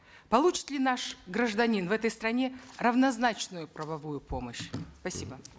получит ли наш гражданин в этой стране равнозначную правовую помощь спасибо